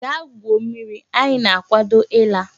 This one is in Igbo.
Gaa gwuo mmiri! Anyi na-akwado ila.